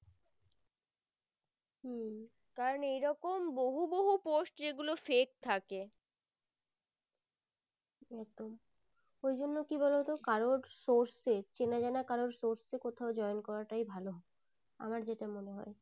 ওই জন্য কি বলতো কারোর source এ চেনা জানা কারোর source এ কোথাও join করা তাই ভালো আমার যেটা মনে হয়